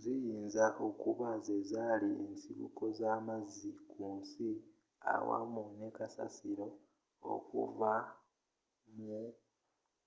ziyinza okuba zezali ensibuko za mazzi ku nsi awamu ne kasasilo okuvva mu